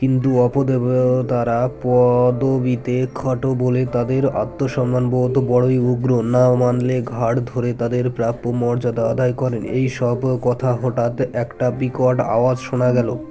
কিন্তু অপদেব- তারা প-দবিতে খাটো বলে তাদের আত্মসম্মানবোধ বড়োই উগ্ৰ না মানলে ঘাড় ধরে তাদের প্রাপ্য মর্যাদা আদায় করেন এইসব কথা হঠাৎ একটা বিকট আওয়াজ শোনা গেল